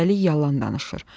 üstəlik yalan danışır.